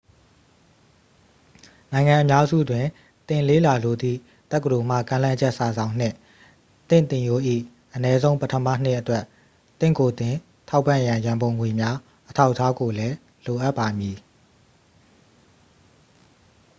နိုင်ငံအများစုတွင် သင်လေ့လာလိုသည့် တက္ကသိုလ်မှ ကမ်းလှမ်းချက်စာစောင်နှင့် သင့်သင်ရိုး၏ အနည်းဆုံး ပထမနှစ်အတွက် သင့်ကိုယ်သင် ထောက်ပံ့ရန် ရန်ပုံငွေများ အထောက်အထားကိုလည်း လိုအပ်ပါမည်